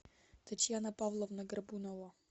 татьяна павловна горбунова